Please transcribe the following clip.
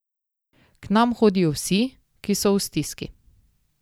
K nam hodijo vsi, ki so v stiski.